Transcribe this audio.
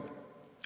Aeg!